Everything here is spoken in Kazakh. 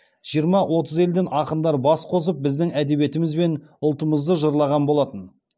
жиырма отыз елден ақындар бас қосып біздің әдебиетіміз бен ұлтымызды жырлаған болатын